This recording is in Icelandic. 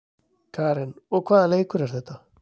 Karen: Og hvaða leikur er þetta?